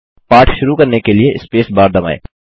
पाठ शुरू करने के लिए स्पेस बार दबाएँ